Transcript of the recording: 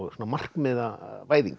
svona